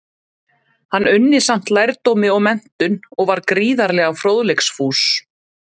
Hann unni samt lærdómi og menntun, og var gífurlega fróðleiksfús.